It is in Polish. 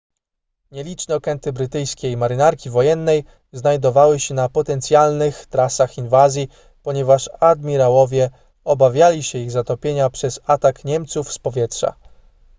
nieliczne okręty brytyjskiej marynarki wojennej znajdowały się na potencjalnych trasach inwazji ponieważ admirałowie obawiali się ich zatopienia przez atak niemców z powietrza